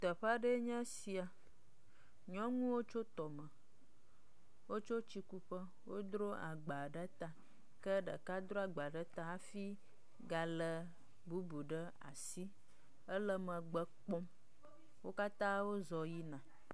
Teƒe aɖee nye esia, nyɔnuwo tso tɔme, wotso tsi kuƒe, wodro agba ɖe ta ke ɖeka dro agba ɖe ta hafi galé bubu ɖe asi, ele megbe kpɔm. wo katã wozɔ yina.